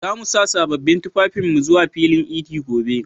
Za mu sa sabbin tufafinmu zuwa filin idi a gobe.